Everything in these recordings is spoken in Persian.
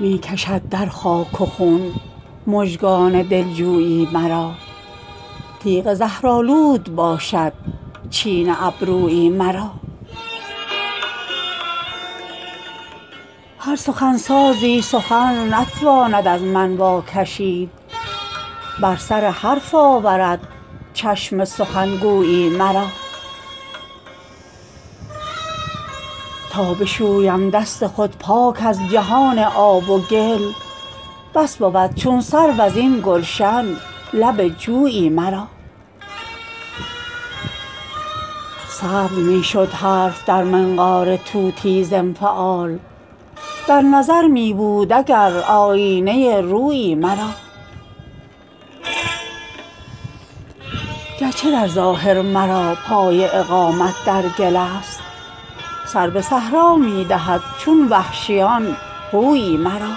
می کشد در خاک و خون مژگان دلجویی مرا تیغ زهرآلود باشد چین ابرویی مرا هر سخنسازی سخن نتواند از من واکشید بر سر حرف آورد چشم سخنگویی مرا تا بشویم دست خود پاک از جهان آب و گل بس بود چون سرو ازین گلشن لب جویی مرا سبز می شد حرف در منقار طوطی ز انفعال در نظر می بود اگر آیینه رویی مرا گرچه در ظاهر مرا پای اقامت در گل است سر به صحرا می دهد چون وحشیان هویی مرا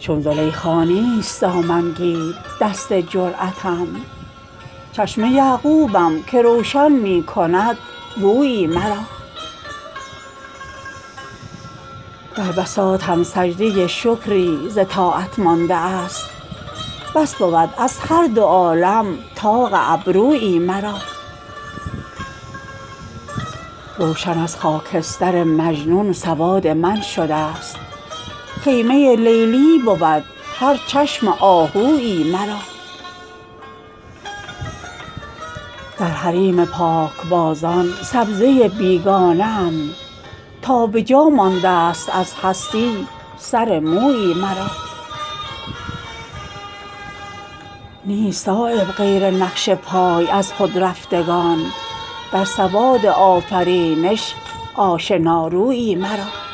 چون زلیخا نیست دامنگیر دست جرأتم چشم یعقوبم که روشن می کند بویی مرا در بساطم سجده شکری ز طاعت مانده است بس بود از هر دو عالم طاق ابرویی مرا روشن از خاکستر مجنون سواد من شده است خیمه لیلی بود هر چشم آهویی مرا در حریم پاکبازان سبزه بیگانه ام تا به جا مانده است از هستی سرمویی مرا نیست صایب غیر نقش پای از خودرفتگان در سواد آفرینش آشنارویی مرا